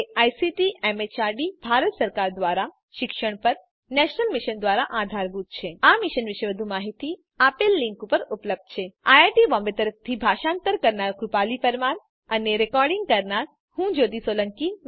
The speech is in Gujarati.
જે આઇસીટી એમએચઆરડી ભારત સરકાર દ્વારા શિક્ષણ પર નેશનલ મિશન દ્વારા આધારભૂત છે આ મિશન વિશે વધુ માહીતી આ લીંક ઉપર ઉપલબ્ધ છે spoken hyphen tutorial dot org slash NMEICT hyphen intro IIT Bombay તરફથી ભાષાંતર કરનાર હું કૃપાલી પરમાર વિદાય લઉં છું